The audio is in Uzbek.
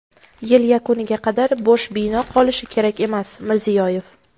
yil yakuniga qadar bo‘sh bino qolishi kerak emas – Mirziyoyev.